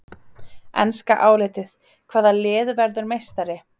Enska álitið: Hvaða lið verður meistari?